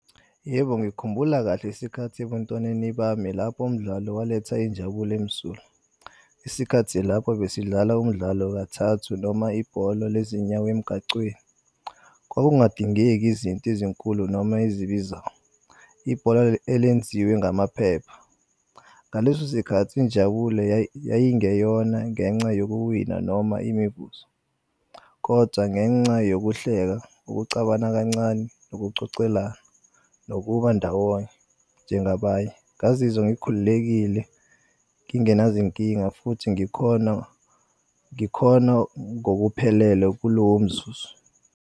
Yebo, ngikhumbula kahle isikhathi ebuntwaneni bami lapho umdlalo waletha injabulo emsulwa. Isikhathi lapho besidlala umdlalo kathathu noma ibhola lezinyawo emigacweni. Kwakungadingeki izinto ezinkulu noma ezibizayo, ibhola elenziwe ngamaphepha. Ngalesosikhathi injabulo yayingeyona ngenxa yokuwina noma imivuzo, kodwa ngenca yokuhleka, ukucabana kancane, nokucocelana nokuba ndawonye njengabanye. Ngazizwa ngikhululekile ngingenaz'nkinga futhi ngikhona ngokuphelele kulowomzuzu.